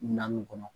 Naani kɔnɔ